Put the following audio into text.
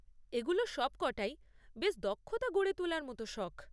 এগুলো সবকটাই বেশ দক্ষতা গড়ে তোলার মতো শখ।